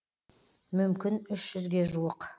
мүмкін үш жүзге жуық